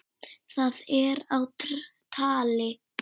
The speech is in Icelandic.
Það er á tali.